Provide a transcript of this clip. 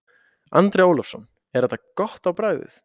Andri Ólafsson: Er þetta gott á bragðið?